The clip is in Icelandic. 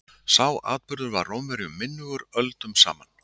Sá atburður var Rómverjum minnugur öldum saman.